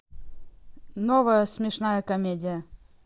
новая смешная комедия